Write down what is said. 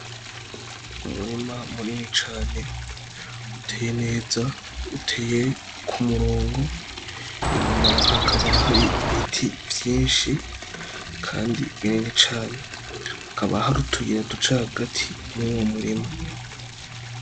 Umurima muneni cane uteye neza uteye ko murongo inyuma hakaba hari ibiti vyinshi, kandi bineni cane hakaba hari utuyira du ca agati muwo murima.